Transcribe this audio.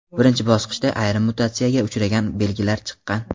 Birinchi bosqichda ayrim mutatsiyaga uchragan belgilari chiqqan.